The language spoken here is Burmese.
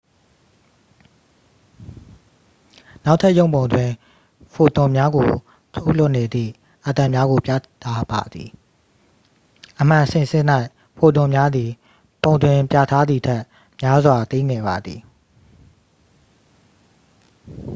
နောက်ထပ်ရုပ်ပုံတွင် ဖိုတွန်များကို ထုတ်လွှတ်နေသည့် အက်တမ်များကို ပြထားပါသည် အမှန်စင်စစ်၌ ဖိုတွန်များသည် ပုံတွင်ပြထားသည်ထက် များစွာ သေးငယ်ပါသည်